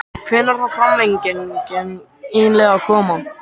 Hvenær á framlengingin eiginlega að koma??